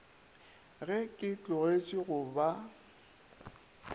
ge ke tlogetše go ba